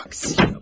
Aksiyona bax!